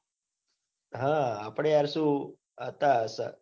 હ અપડે યાર સુ હતા.